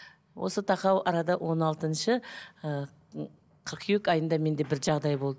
осы тақау арада он алтыншы ыыы қыркүйек айында менде бір жағдай болды